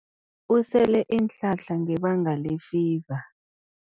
Usele iinhlahla ngebanga lefiva.